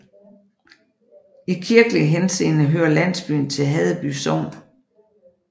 I kirkelig henseende hører landsbyen til Haddeby Sogn